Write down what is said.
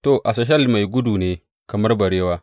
To, Asahel mai gudu ne kamar barewa.